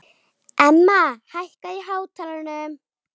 Emma, hækkaðu í hátalaranum.